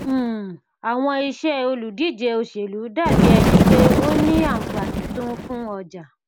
um àwọn iṣẹ òlùdíje òṣèlú dàbí ẹni pé ó ní àǹfààní tó ń fún ọjà